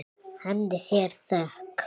Henni sé þökk.